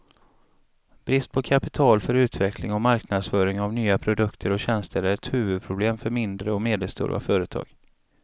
Brist på kapital för utveckling och marknadsföring av nya produkter och tjänster är ett huvudproblem för mindre och medelstora företag.